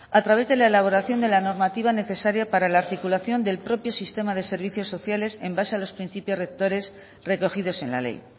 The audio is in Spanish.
a través de la elaboración de la normativa necesaria para la articulación del propio sistema de servicios sociales en base a los principios rectores recogidos en la ley